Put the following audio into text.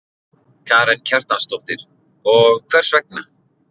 Karen Kjartansdóttir: Og hvers vegna?